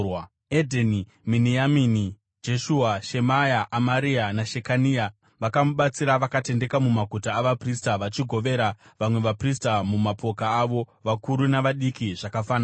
Edheni, Miniamini, Jeshua, Shemaya, Amaria naShekania vakamubatsira vakatendeka mumaguta avaprista, vachigovera vamwe vaprista mumapoka avo, vakuru navadiki zvakafanana.